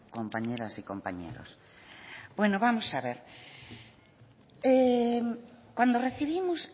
compañeras y compañeros bueno vamos a ver cuando recibimos